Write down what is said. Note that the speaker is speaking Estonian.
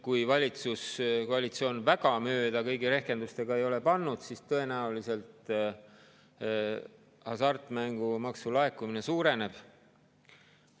Kui valitsuskoalitsioon kõigi rehkendustega väga mööda ei ole pannud, siis tõenäoliselt hasartmängumaksu laekumine suureneb.